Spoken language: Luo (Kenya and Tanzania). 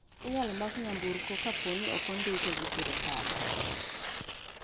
Inyalo mak nyamburko kaponi ok ondike gi sirkal.